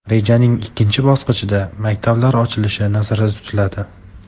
Rejaning ikkinchi bosqichida maktablar ochilishi nazarda tutiladi.